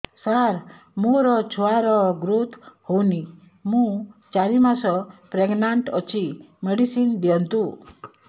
ସାର ମୋର ଛୁଆ ର ଗ୍ରୋଥ ହଉନି ମୁ ଚାରି ମାସ ପ୍ରେଗନାଂଟ ଅଛି ମେଡିସିନ ଦିଅନ୍ତୁ